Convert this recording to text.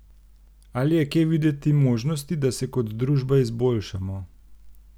Ali je kje videti možnosti, da se kot družba izboljšamo?